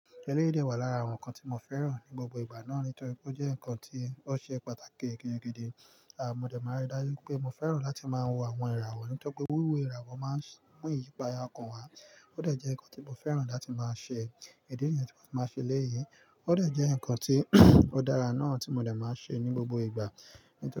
Ẹlẹ́rìí jẹ́ ọ̀kan lára àwọn nǹkan tí mo fẹ́ràn ní gbogbo ìgbà náà nítorí pé ó jẹ́ nǹkan tí ó ṣe pàtàkì gidi gan-an. Àmọ́ dẹ̀ máa rí dájú pé mo fẹ́ràn láti máa wo àwọn ìràwọ̀ nítorí pé wíwíwo ìràwọ̀ máa ń mú ìyípadà ọkàn wá. Ó dà jẹ́ nǹkan tí mo fẹ́ràn láti máa ṣe. Idè nìyẹn tí mo ti máa ṣe lẹ́yìn. Ó dà jẹ́ nǹkan tí ó dára náà tí mo dẹ̀ máa ṣe ní gbogbo ìgbà nítorí.